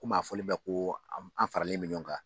Komi a fɔlen bɛ ko an faralen bɛ ɲɔgɔn kan